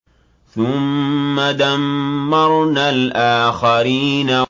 ثُمَّ دَمَّرْنَا الْآخَرِينَ